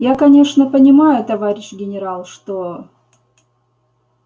я конечно понимаю товарищ генерал что